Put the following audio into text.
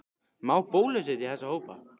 Má bólusetja þessa hópa?